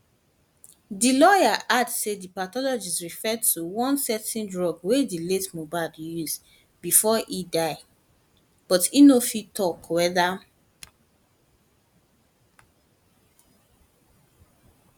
di lawyer add say di pathologist refer to one certain drug wey di late mohbad use bifor e die but e no fit tok weda